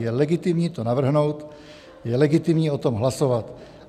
Je legitimní to navrhnout, je legitimní o tom hlasovat.